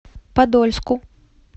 подольску